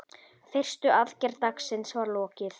Fyrstu aðgerð dagsins var lokið.